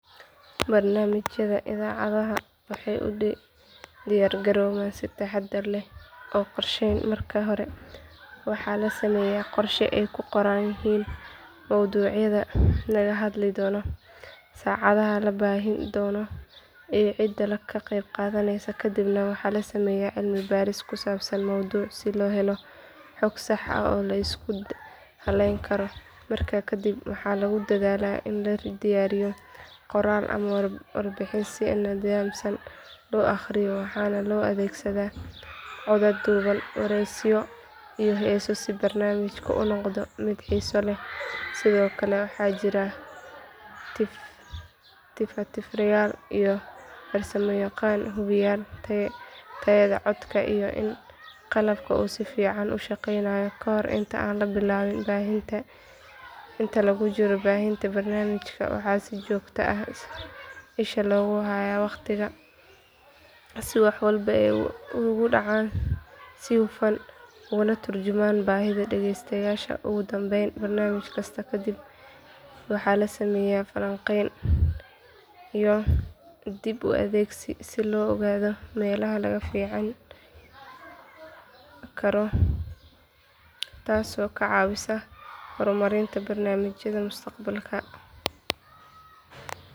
Barnaamijyada idaacadaha waxay u diyaargaroobaan si taxaddar leh oo qorsheysan marka hore waxaa la sameeyaa qorshe ay ku qoran yihiin mowduucyada laga hadli doono saacadaha la baahin doono iyo cidda ka qayb qaadaneysa kadibna waxa la sameeyaa cilmi baaris ku saabsan mowduuca si loo helo xog sax ah oo la isku halleyn karo markaa kadib waxa lagu dadaalaa in la diyaariyo qoraal ama warbixin si nidaamsan loo akhriyo waxaana loo adeegsadaa codad duuban wareysiyo iyo heeso si barnaamijku u noqdo mid xiiso leh sidoo kale waxaa jira tifaftirayaal iyo farsamayaqaanno hubiya tayada codka iyo in qalabka uu si fiican u shaqeynayo kahor inta aan la bilaabin baahinta inta lagu jiro baahinta barnaamijka waxaa si joogto ah isha loogu hayaa waqtiga si wax walba ay ugu dhacaan si hufan ugana tarjumaan baahida dhageystayaasha ugu dambeyn barnaamij kasta kadib waxaa la sameeyaa falanqeyn iyo dib u eegis si loo ogaado meelaha laga fiicnaan karo taasoo ka caawisa horumarinta barnaamijyada mustaqbalka